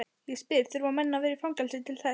Ég spyr, þurfa menn að vera í fangelsi til þess?